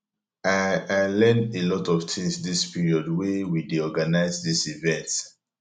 i i learn a lot of things dis period wey we dey organize dis event